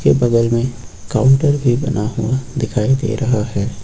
बगल में काउंटर भी बना हुआ दिखाई दे रहा है।